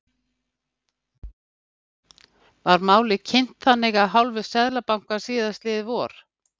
Var málið kynnt þannig af hálfu Seðlabankans síðastliðið vor?